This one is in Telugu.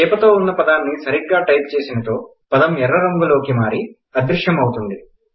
చేపతోఉన్న పదాన్ని సరిగ్గా టైప్ చేసినచో పదం ఎర్ర రంగులోకి మారి అదృశ్యం ఆవుతుంది